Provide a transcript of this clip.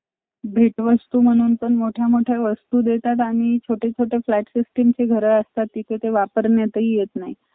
पण तिथे Indian restaurant फार कमी आणि खूप जास्ती costly महाग जास्ती होते त ते थोडं फार खायची अडचण झाली अं